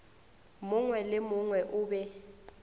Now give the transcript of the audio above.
mongwe le mongwe o be